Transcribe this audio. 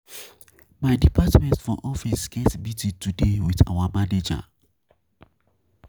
My department for office get meeting today wit our manager.